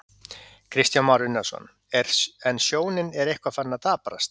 Kristján Már Unnarsson: En sjónin er eitthvað farin að daprast?